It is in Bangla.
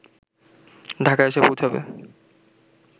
ঢাকায় এসে পৌঁছাবে